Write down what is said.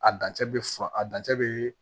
A dancɛ bɛ furan a dancɛ bɛ